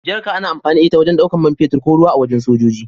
Jarka ana amfani da ita wajen ɗaukan mai fetur ko ruwa a wajen sojoji.